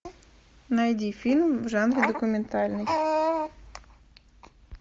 найди фильм в жанре документальный